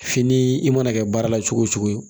Fini i mana kɛ baara la cogo o cogo